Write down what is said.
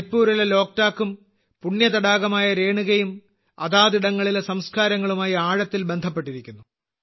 മണിപ്പൂരിലെ ലോക്ക്ടാക്കും പുണ്യ തടാകമായ രേണുകയും അതാതിടങ്ങളിലെ സംസ്കാരങ്ങളുമായി ആഴത്തിൽ ബന്ധപ്പെട്ടിരിക്കുന്നു